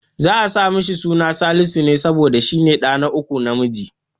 Za'a saka masa suna Salisu ne, saboda shi ne ɗa na uku namiji.